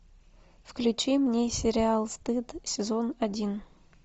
включи мне сериал стыд сезон один